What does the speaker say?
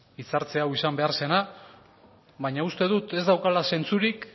hitzartze hau izan behar zena baina uste dut ez daukala zentzurik